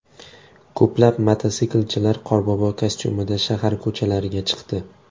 Ko‘plab mototsiklchilar qorbobo kostyumida shahar ko‘chalariga chiqdi.